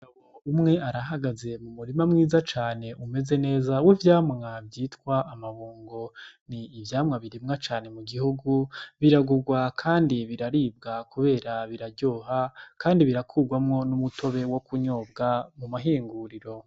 Umwe arahagaze mu murima mwiza cane umeze neza w'ivyamwa vyitwa amabungo, ni ivyamwa birimwa cane mu gihugu, biragurwa kandi biraribwa kubera biraryoha kandi birakurwamwo n'umutobe wo kunyobwa mu mahinguriro